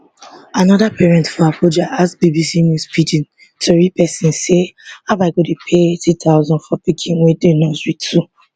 anoda parent for abuja ask bbc news pidgin tori pesin say how i go dey pay eighty thousand for pikin wey dey nursery two